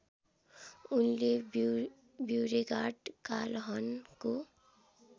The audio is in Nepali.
उनले ब्यूरेगार्ड कालहनको